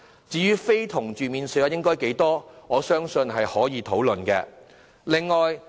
至於實際的免稅數額，我相信可有討論的空間。